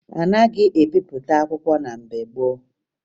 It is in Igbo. A naghị ebipụta akwụkwọ na mgbe gboo